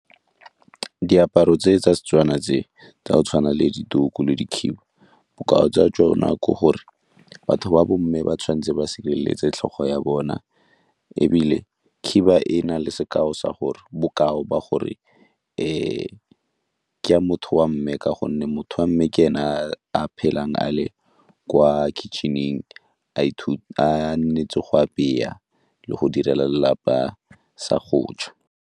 Diaparo tse tsa Setswana tse tsa go tshwana le dituku le dikhiba bokao tsa tsona ke gore batho ba bo mme ba tshwanetse ba sireletse tlhogo ya bona ebile khiba e na le sekao sa gore, bokao o ba gore ke ya motho wa mme ka gonne motho wa mme ke ene a a phelang a le kwa kitchen-eng a nnetse go apeya le go direla lelapa sa go ja.